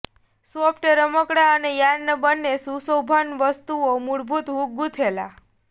soft રમકડાં અને yarn બને સુશોભન વસ્તુઓ મૂળભૂત હૂક ગૂંથેલા